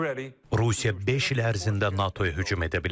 Rusiya beş il ərzində NATO-ya hücum edə bilər.